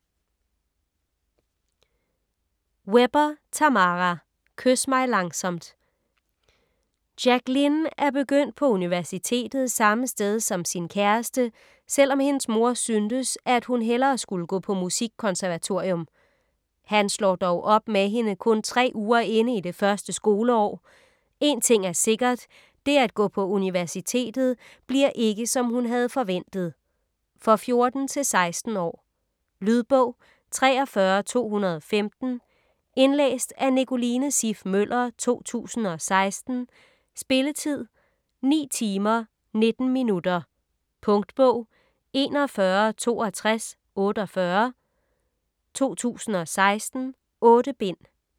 Webber, Tammara: Kys mig langsomt Jacqueline er begyndt på universitetet samme sted som sin kæreste, selvom hendes mor syntes at hun hellere skulle gå på musikkonservatorium. Han slår dog op med hende kun tre uger inde i det første skoleår. En ting er sikkert, det at gå på universitetet bliver ikke som hun havde forventet. For 14-16 år. Lydbog 43215 Indlæst af Nicoline Siff Møller, 2016. Spilletid: 9 timer, 19 minutter. Punktbog 416248 2016. 8 bind.